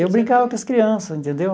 Eu brincava com as crianças, entendeu?